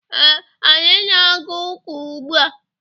Ee, anyị na-aga ụka ugbua.